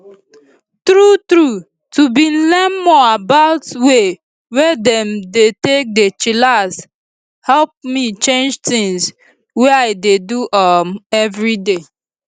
true true to bin learn more about way wey dem dey take dey chillax hep me change tins wey i dey do um everyday